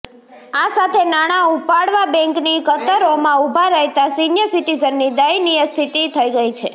આ સાથે નાણાં ઉપાડવા બેંકની કતરોમાં ઉભા રહેતા સિનિયર સિટીઝનની દયનીય સ્થિતિ થઇ ગઇ છે